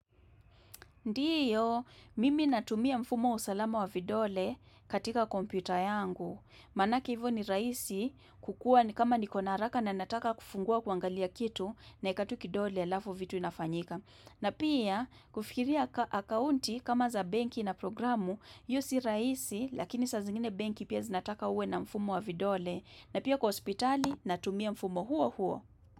Ndiyo, mimi natumia mfumo wa usalama wa vidole katika kompyuta yangu. Manaki hivyo ni rahisi kukuwa ni kama niko na haraka na nataka kufungua kuangalia kitu naweka tu kidole halafu vitu inafanyika. Na pia kufikiria akaunti kama za benki na programu, hiyo si rahisi lakini sa zingine benki pia zinataka uwe na mfumo wa vidole. Na pia kwa hospitali natumia mfumo huo huo.